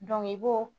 i b'o